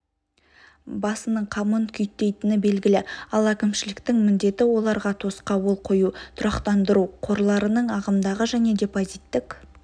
басының қамын күйттейтіні белгілі ал әкімшіліктің міндеті оларға тосқауыл қою тұрақтандыру қорларының ағымдағы және депозиттік